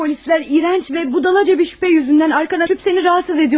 Polislər iyrənc və budalaca bir şübhə yüzündən arxana düşüb səni narahat ediyolarımış.